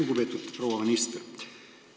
Lugupeetud proua minister!